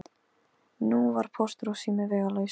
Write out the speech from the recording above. Nú var Póstur og sími vegalaus.